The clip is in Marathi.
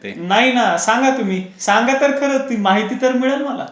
नाही ना सांगा तर तुम्ही सांगा तर खरा ती माहिती तर मिळेल मला.